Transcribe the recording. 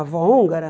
A avó húngara?